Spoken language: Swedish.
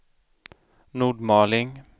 Nordmaling